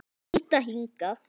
Líta hingað!